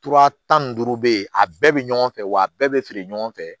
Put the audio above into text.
Tura tan ni duuru bɛ yen a bɛɛ bɛ ɲɔgɔn fɛ wa a bɛɛ bɛ feere ɲɔgɔn fɛ